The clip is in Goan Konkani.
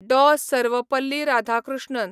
डॉ. सर्वेपल्ली राधाकृष्णन